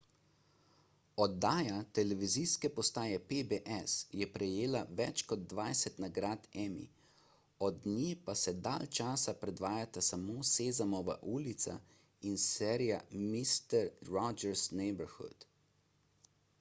oddaja televizijske postaje pbs je prejela več kot dvajset nagrad emmy od nje pa se dalj časa predvajata samo sezamova ulica in serija mister rogers' neighborhood